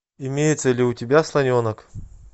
имеется ли у тебя слоненок